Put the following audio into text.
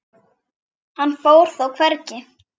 Hann fór þó hvergi.